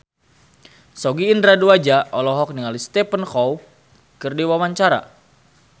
Sogi Indra Duaja olohok ningali Stephen Chow keur diwawancara